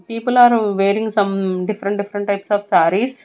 People are wearing some different different types of sarees.